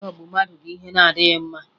Ịghọgbu mmadụ bụ ihe na-adịghị mma